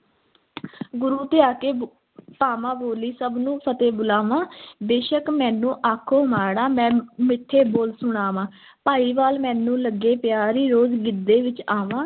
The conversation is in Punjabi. ਗੁਰੂ ਧਿਆ ਕੇ ਪਾਵਾਂ ਬੋਲੀ, ਸਭ ਨੂੰ ਫ਼ਤਹਿ ਬੁਲਾਵਾਂ ਬੇਸ਼ੱਕ ਮੈਨੂੰ ਆਖੋ ਮਾੜਾਂ, ਮੈਂ ਮਿੱਠੇ ਬੋਲ ਸੁਣਾਵਾਂ, ਭਾਈਵਾਲ ਮੈਨੂੰ ਲੱਗੇ ਪਿਆਰੀ, ਰੋਜ਼ ਗਿੱਧੇ ਵਿੱਚ ਆਵਾਂ।